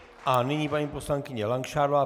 A nyní paní poslankyně Langšádlová.